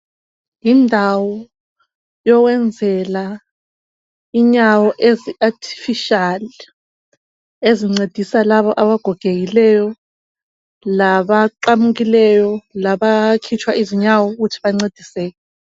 Indawo yokwenzela inyawo ezi "artificial" ezincedisa labo abagogekileyo, laba qamukileyo, laba khitshwa izinyawo ukuthi bancediseke.